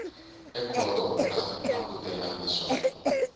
ekhoto u nga langutela leswaku